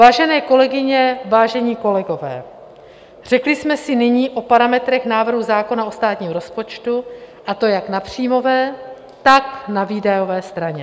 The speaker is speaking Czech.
Vážené kolegyně, vážení kolegové, řekli jsme si nyní o parametrech návrhu zákona o státním rozpočtu, a to jak na příjmové, tak na výdajové straně.